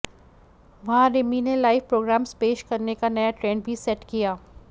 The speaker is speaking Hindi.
वहां रिमि ने लाइव प्रोग्राम्स पेश करने का नया ट्रेंड भी सेट किया